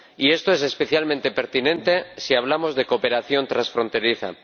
Y esto es especialmente pertinente si hablamos de cooperación transfronteriza.